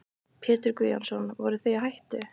Pétur Guðjónsson: Voruð þið í hættu?